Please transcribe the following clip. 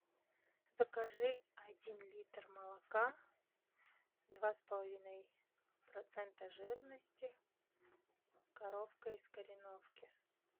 закажи один литр молока два с половиной процента жирности коровка из кореновки